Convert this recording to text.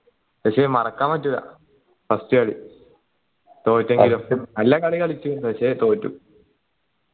പക്ഷേ മറക്കാൻ പറ്റൂല first കളി തോറ്റെങ്കിലും നല്ല കളി കളിച്ചു പക്ഷേ തോറ്റു